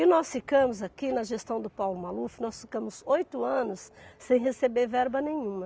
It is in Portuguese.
E nós ficamos aqui na gestão do Paulo Maluf, nós ficamos oito anos sem receber verba nenhuma.